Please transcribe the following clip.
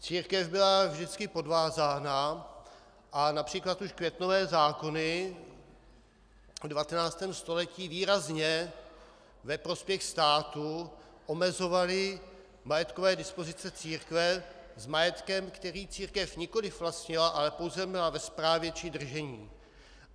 Církev byla vždycky podvázána a například už květnové zákony v 19. století výrazně ve prospěch státu omezovaly majetkové dispozice církve s majetkem, který církev nikoliv vlastnila, ale pouze měla ve správě či držení.